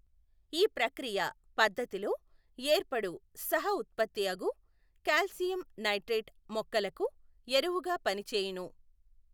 ఈ ప్రక్రియపద్ధతిలో ఏర్పడు సహఉత్పత్తి అగు కాల్సియం నైట్రేట్ మొక్కలకు ఎరువుగా పనిచేయును.